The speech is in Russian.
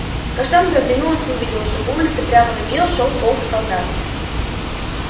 каштанка оглянулась и увидела что по улице прямо на неё шёл полк солдат